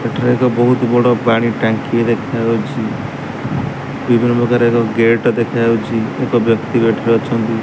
ଏଠାରେ ଏକ ବହୁତ ବଡ଼ ପାଣି ଟାଙ୍କି ଦେଖାଯାଉଚି। ବିଭିନ୍ନ ପ୍ରକାର ଏକ ଗେଟ ଦେଖାଯାଉଚି। ଏକ ବ୍ୟକ୍ତି ଗେଟ ରେ ଅଛନ୍ତି।